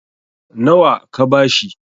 nawa ka ba shi?